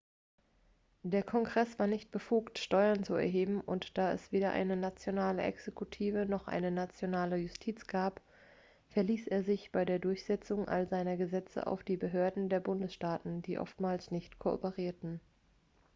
der kongress war nicht befugt steuern zu erheben und da es weder eine nationale exekutive noch eine nationale justiz gab verließ er sich bei der durchsetzung all seiner gesetze auf die behörden der bundesstaaten die oftmals nicht kooperierten